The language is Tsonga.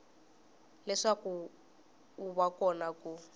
leswaku wu va kona ku